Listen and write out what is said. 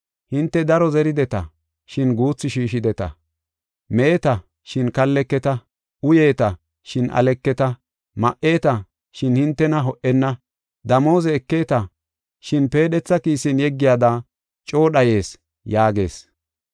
Hinte daro zerideta, shin guuthu shiishideta. Meeta, shin kalleketa; uyeeta, shin aleketa. Ma77eeta, shin hintena ho77enna. Damooze ekeeta, shin peedhetha kiisen yeggiyada coo dhayees” yaagees.